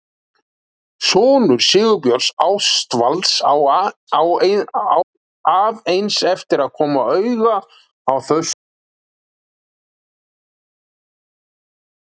Sonur Sigurbjörns Ástvalds á að eins eftir að koma auga á þessi sömu lífssannindi.